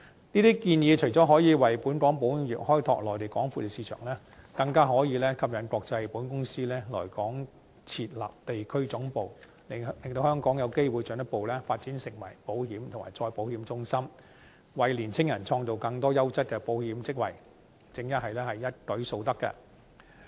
這些建議除了可以為本港保險業開拓內地廣闊的市場，更可以吸引國際保險公司來港設立地區總部，令香港有機會進一步發展成為保險及再保險中心，為青年人創造更多優質的保險職位，正是一舉數得。